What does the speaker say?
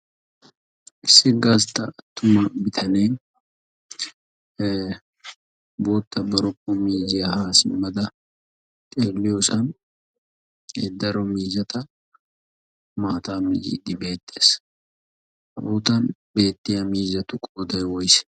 issi gasttaa attuma bitanee bootta baroppo miiziyaa haasimmada xeeliyoosan eeddaro miizata maata miyiiddi beetees. hegan beettiya miizatu qooday woysee?